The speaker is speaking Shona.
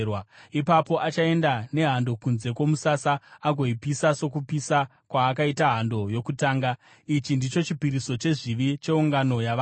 Ipapo achaenda nehando kunze kwomusasa agoipisa sokupisa kwaakaita hando yokutanga. Ichi ndicho chipiriso chezvivi cheungano yavanhu.